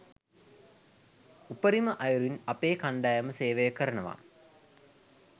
උපරිම අයුරින් අපේ කණ්ඩායම සේවය කරනවා